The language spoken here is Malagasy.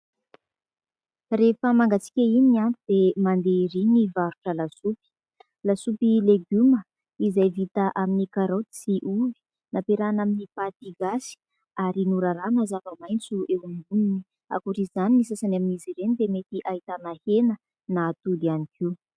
Rehefa mangatsiaka iny andro dia mandeha ery ny varotra lasopy, lasopy legioma izay vita amin'ny karoty sy ovy nampiarahina amin'ny paty gasy ary norarahana zava-maintso eo amboniny, ankoatr'izay ny sasany amin'izy ireny dia mety ahitana hena na atody ihany koa.